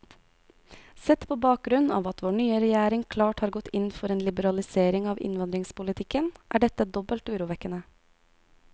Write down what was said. Sett på bakgrunn av at vår nye regjering klart har gått inn for en liberalisering av innvandringspolitikken, er dette dobbelt urovekkende.